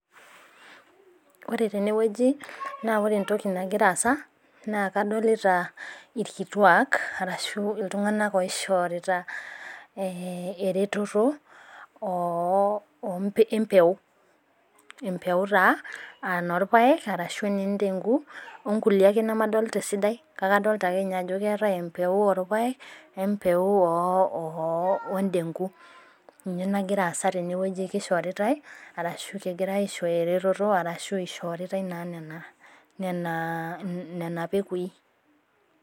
Ore tene wueji naa ore entoki nagira aasa, naa kadolita ilkituak, arashu iltung'anak oishorita eretoto empeko. Empeku taa olpaaek arashu noontenku, o nkulie ake nemadolita esidai kake adolita ake ninye ajo keatai empeko oolpaek, weempeko oondeku, ninye nagira aasa tenewueji, keishoritai arshu kegira aishooyo eretoto arashu eishoritau naa nena pekoi.